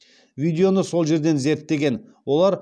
видеоны сол жерден зерттеген олар